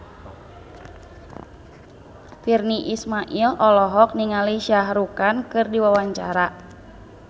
Virnie Ismail olohok ningali Shah Rukh Khan keur diwawancara